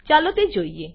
ચાલો તે જોઈએ